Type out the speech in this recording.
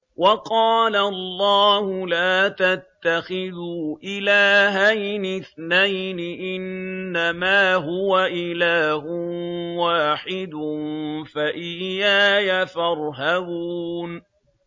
۞ وَقَالَ اللَّهُ لَا تَتَّخِذُوا إِلَٰهَيْنِ اثْنَيْنِ ۖ إِنَّمَا هُوَ إِلَٰهٌ وَاحِدٌ ۖ فَإِيَّايَ فَارْهَبُونِ